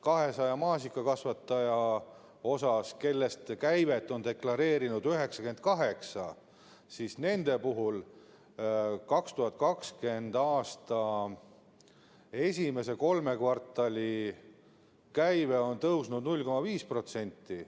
200 maasikakasvatajast on käivet deklareerinud 98, nende puhul on 2020. aasta esimese kolme kvartali käive tõusnud 0,5%.